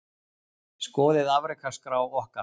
Skoðið afrekaskrá okkar